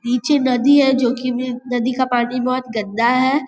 नीचे नदी है जो की नदी का पानी बहोत गंदा है।